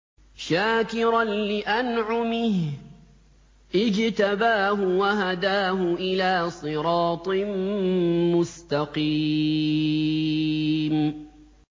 شَاكِرًا لِّأَنْعُمِهِ ۚ اجْتَبَاهُ وَهَدَاهُ إِلَىٰ صِرَاطٍ مُّسْتَقِيمٍ